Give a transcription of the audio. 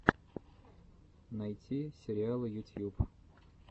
найти сериалы ютьюб